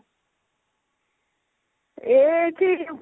ଏଇଠି ବସିଥିଲୁ